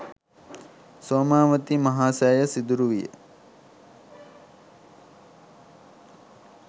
සෝමාවතී මහසෑය සිදුරු විය.